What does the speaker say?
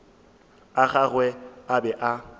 a gagwe a be a